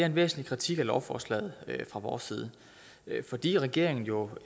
en væsentlig kritik af lovforslaget fra vores side fordi regeringen jo